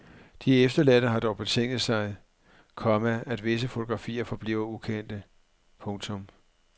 De efterladte har dog betinget sig, komma at visse fotografier forbliver ukendte. punktum